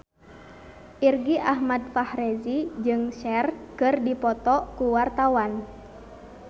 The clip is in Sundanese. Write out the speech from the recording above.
Irgi Ahmad Fahrezi jeung Cher keur dipoto ku wartawan